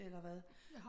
Eller hvad